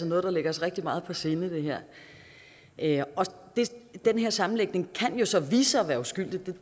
noget der ligger os rigtig meget på sinde den her den her sammenhæng kan jo så vise sig at være uskyldig